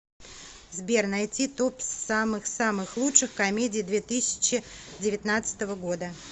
сбер найти топ самых самых лучших комедий две тысячи девятнадцатого года